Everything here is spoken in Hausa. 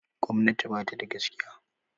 Gwamnati ba tada gaskiya